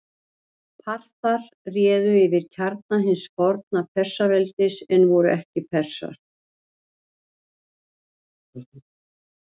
Parþar réðu yfir kjarna hins forna Persaveldis en voru ekki Persar.